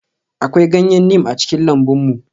Akwai ganyen neem a cikin lambun mu.